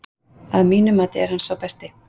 Að mínu mati er hann sá besti.